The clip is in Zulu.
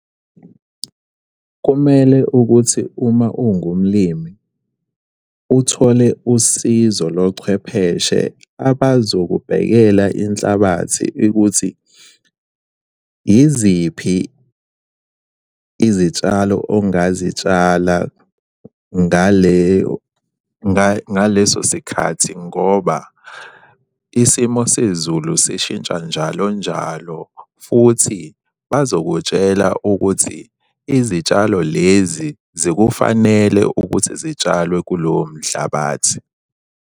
Kumele ukuthi uma ungumlimi uthole usizo lochwepheshe abazokubhekela inhlabathi ukuthi yiziphi izitshalo ongazitshala ngaleso sikhathi, ngoba isimo sezulu sishintsha njalo njalo, futhi bazokutshela ukuthi izitshalo lezi zikufanele ukuthi zitshalwe kulowo mhlabathi.